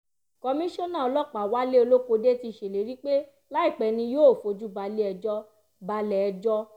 komisanna ọlọ́pàá wálé olókódé ti ṣèlérí pé láìpẹ́ ni yóò fojú balẹ̀-ẹjọ́ balẹ̀-ẹjọ́